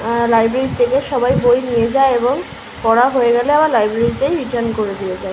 Library এর থেকে সবাই বই নিয়ে যায় এবং পড়া হয়ে গেলে আবার লাইব্রেরি তেই রিটার্ন করে দিয়ে যায়।